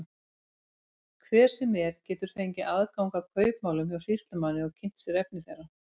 Hver sem er getur fengið aðgang að kaupmálum hjá sýslumanni og kynnt sér efni þeirra.